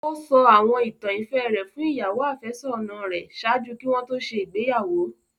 O sọ àwọn ìtàn ìfẹ rẹ fun ìyàwo-àfésónà rẹ ṣaaju ki wọn to ṣe igbeyawo